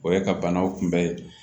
O ye ka banaw kunbɛ